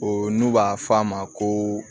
O n'u b'a f'a ma ko